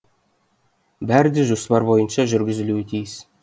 бәрі де жоспар бойынша жүргізілуі тиіс